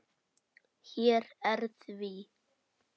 Hér er því.